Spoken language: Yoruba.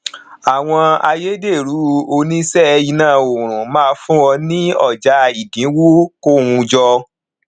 àwọn ayédèrú òní ṣe iná ọrùn má fún ọ ní ọjà ìdinwo kò wun jọ